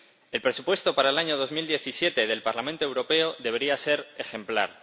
El presupuesto para el año 2017 del Parlamento Europeo debería ser ejemplar.